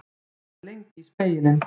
Hann horfði lengi í spegilinn.